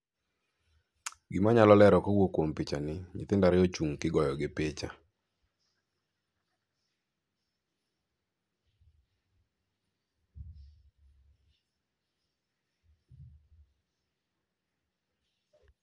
gimanyalo lero kowuok kuom pichani nyithindo ariyo ochung' tigoyo gi picha.